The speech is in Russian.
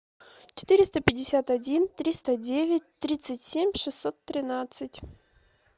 четыреста пятьдесят один триста девять тридцать семь шестьсот тринадцать